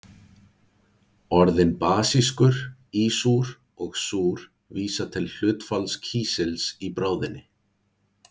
Orðin basískur, ísúr og súr vísa til hlutfalls kísils í bráðinni.